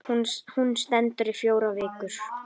Hún stendur í fjórar vikur.